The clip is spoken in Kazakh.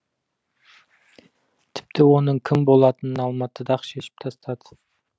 тіпті оның кім болатынын алматыда ақ шешіп тастады